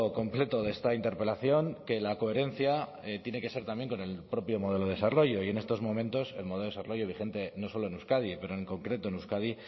completo de esta interpelación que la coherencia tiene que ser también con el propio modelo de desarrollo y en estos momentos el modelo de desarrollo vigente no solo en euskadi pero en concreto en euskadi